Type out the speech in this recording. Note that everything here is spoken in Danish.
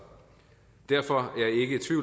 derfor